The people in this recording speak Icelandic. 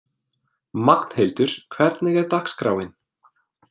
Magnhildur, hvernig er dagskráin?